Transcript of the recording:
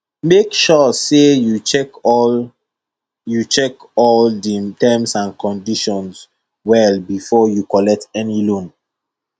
make sure say you check all you check all di terms and conditions well befor you collet any loan